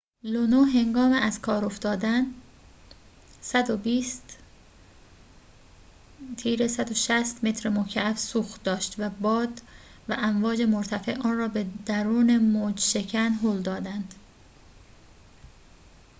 لونو هنگام از کار افتادن ۱۲۰-۱۶۰ متر مکعب سوخت داشت و باد و امواج مرتفع آن‌را به دورن موج‌شکن هل دادند